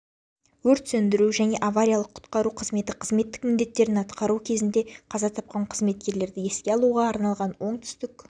өрт сөндіру және авариялық-құтқару қызметі қызметтік міндеттерін атқару кезінде қаза тапқан қызметкерлерді еске алуға арналған оңтүстік